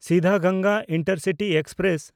Siddhaganga intercity express